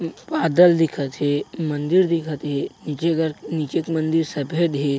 बादल दिखत हे मंदिर दिखत हे नीचे गर नीचे एक मंदिर सफेद हे।